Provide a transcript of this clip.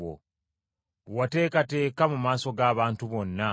bwe wateekateeka mu maaso g’abantu bonna,